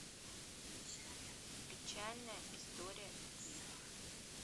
печальная история любви